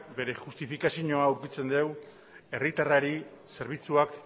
beste justifikazioa edukitzen deu herritarrari zerbitzuak